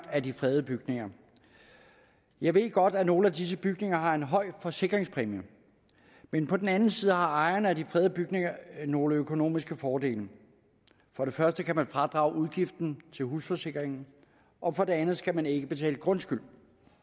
af de fredede bygninger jeg ved godt at nogle af disse bygninger har en høj forsikringspræmie men på den anden side har ejerne af de fredede bygninger nogle økonomiske fordele for det første kan man fradrage udgiften til husforsikringen og for det andet skal man ikke betale grundskyld